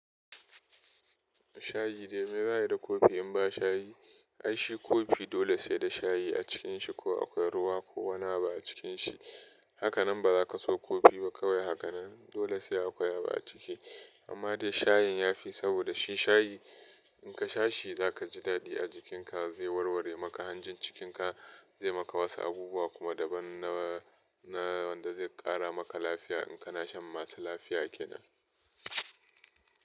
Shayi dai me za'a yi da kofi in ba shayi? Ai shi kofi dole sai da shayi a cikin shi ko akwai ruwa ko wani abu a cikin shi. Hakanan ba za ka so kofi ba kawai hakanan. Dole sai akwai abu a ciki. Amma dai shayin ya fi saboda shi shayi. In ka sha shi za ka ji daɗi a jikinka zai warware maka hanjin cikin ka zai maka wasu abubuwa kuma daban na wanda zai ƙara maka lafiya in kana shan masu lafiya kenan.